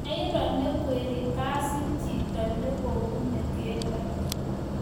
Mairo ne kwerie basit chito ne ko bune keldo